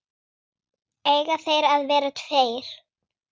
Eiga þeir að vera tveir?